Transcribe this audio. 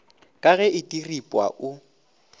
ka ge e diripwa o